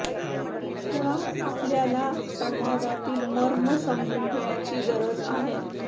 मुळात आपल्याला संवादातील मर्म समजून घेण्याची गरज आहे